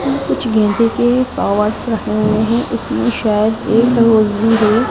कुछ गेंदे के इसमें सायद एक रोज भी है।